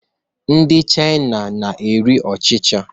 Ndị China na-eri ọchịcha